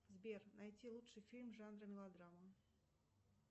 сбер найти лучший фильм жанра мелодрама